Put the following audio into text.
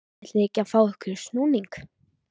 ætlið þið ekki að fá ykkur snúning?